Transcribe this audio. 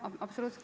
Absoluutselt!